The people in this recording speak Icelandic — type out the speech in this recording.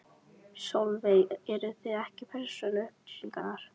Sólveig: Eru það ekki persónuupplýsingar?